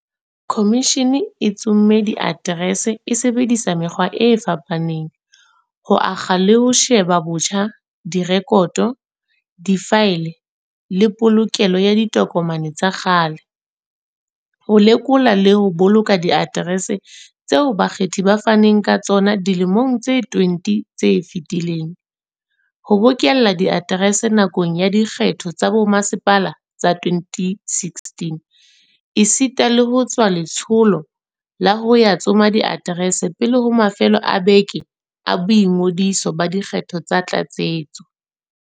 Khomishene e tsomme diaterese e sebedisa mekgwa e fapa neng, ho akga le ho sheba botjha direkoto, difaele le polokelo ya ditokomane tsa kgale, ho lekola le ho boloka diaterese tseo bakgethi ba faneng ka tsona dilemong tse 20 tse fetileng, ho bokella diaterese nakong ya dikgetho tsa bomasepala tsa 2016, esita le ho tswa letsholo la ho ya tsoma diaterese pele ho mafelo a beke a boingodiso ba dikgetho tsa tlatsetso.